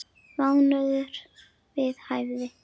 Mánuður við hæfi.